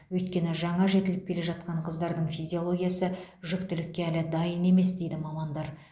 өйткені жаңа жетіліп келе жатқан қыздардың физиологиясы жүктілікке әлі дайын емес дейді мамандар